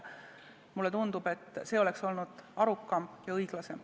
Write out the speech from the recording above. Mulle tundub, et see oleks olnud arukam ja õiglasem.